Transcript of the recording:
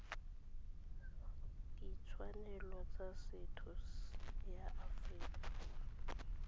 ditshwanelo tsa setho ya aforika